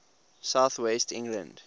south west england